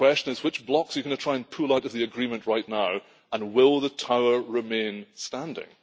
The question is which blocks are you going to try and pull out of the agreement right now and will the tower remain standing?